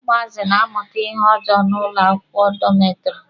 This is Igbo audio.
Ụmụazị na-amụta ihe ojoo n'ụlọ akwụkwọ dọmetiri.